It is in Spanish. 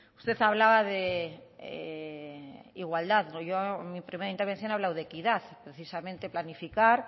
usted hablaba de igualdad yo en mi primera intervención he hablado de equidad precisamente planificar